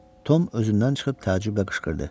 Tom özündən çıxıb təəccüblə qışqırdı.